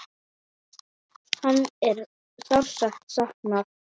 Hans er sárt saknað.